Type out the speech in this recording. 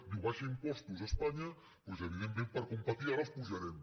diu abaixa impostos espanya doncs evidentment per competir ara els apujarem